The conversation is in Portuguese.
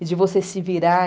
E de você se virar.